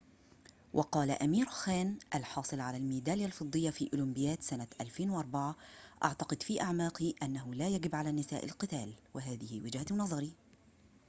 وقال أمير خان الحاصل على الميدالية الفضية في أولمبياد سنة 2004 أعتقد في أعماقي أنه لا يجب على النساء القتال وهذه وجهة نظري